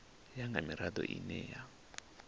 ya nga mirado ine ya